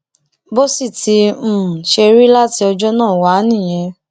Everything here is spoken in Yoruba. bó sì ti um ṣe rí láti ọjọ náà wá nìyẹn